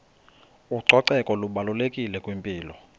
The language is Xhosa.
ucoceko lubalulekile kwimpilo